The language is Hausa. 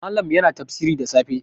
Malam yana tafsiri da safe